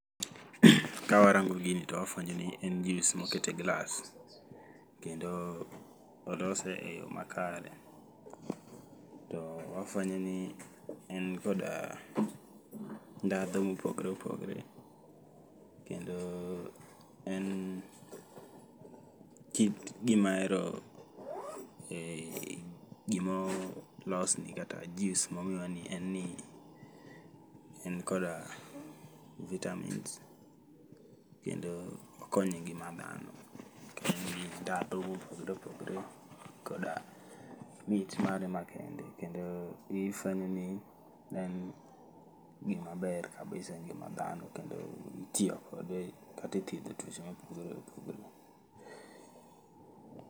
Kawarango gini to wafuenyo ni en juice[cs[ moket e glass. Kendo olose eyo makare. To wafuenyo ni en kod ndhadhu mopogore opogore. Kendo en kit gima ero gimo los goni en juice ni en koda vitamins kendo okonyo engima dhano. En gi ndhadhu mopogore opogore koda mit mare makende kendo ifuenyo ni en gima ber kabisa engima dhano kendo itiyo kode kata e thiedho tuoche mopgore opogore.